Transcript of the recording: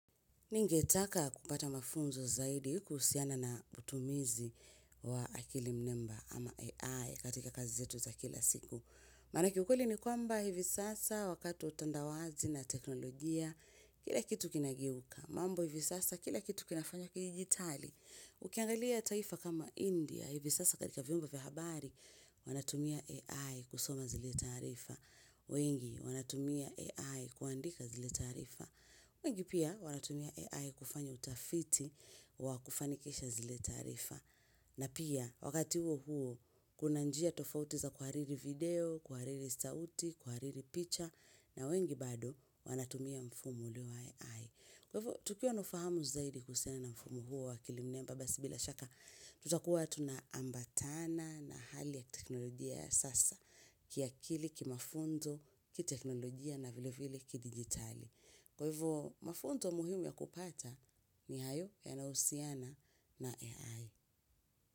Ningetaka kupata mafunzo zaidi kuhusiana na utumizi wa akili mnemba ama AI katika kazi zetu za kila siku. Maanake ukweli ni kwamba hivi sasa wakati wa utandawazi na teknolojia, kila kitu kinageuka. Mambo hivi sasa kila kitu kinafanywa kidijitali. Ukiangalia taifa kama India, hivi sasa katika vyumba vya habari, wanatumia AI kusoma zile taarifa. Wengi wanatumia AI kuandika zile taarifa. Wengi pia wanatumia AI kufanya utafiti wa kufanikisha zile taarifa na pia wakati huo huo kuna njia tofauti za kuhariri video, kuhariri sauti, kuhariri picha na wengi bado wanatumia mfumo ulio wa AI. Kwa hivyo, tukiwa na ufahamu zaidi kusena na mfumo huo wa akili mnemba basi bila shaka, tutakuwa tunaambatana na hali ya teknolojia ya sasa, kiakili, kimafunzo, kiteknolojia na vile vile kidigitali. Kwa hivyo, mafunzo muhimu ya kupata ni hayo yanahusiana na AI.